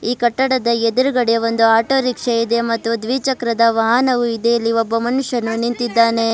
ಈ ಕಟ್ಟಡದ ಎದುರುಗಡೆ ಒಂದು ಆಟೋ ರಿಕ್ಷ ಇದೆ ಮತ್ತು ದ್ವಿಚಕ್ರದ ವಾಹನವು ಇದೆ ಇಲ್ಲಿ ಒಬ್ಬ ಮನುಷ್ಯನು ನಿಂತಿದ್ದಾನೆ.